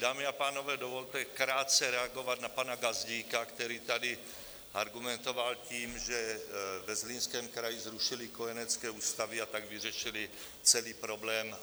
Dámy a pánové, dovolte krátce reagovat na pana Gazdíka, který tady argumentoval tím, že ve Zlínském kraji zrušili kojenecké ústavy, a tak vyřešili celý problém.